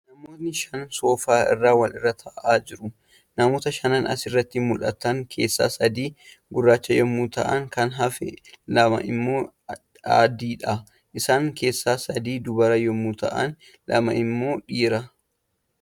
Namootni shan soofaa irra wal irra taa'aa jiru. Namoota shanan asirratti mul'atan keessaa sadii gurraacha yemmuu ta'an kan hafan lamaan immoo adiidha. Isaan keessaa sadii dubara yemmuu ta'an lama immoo dhiira.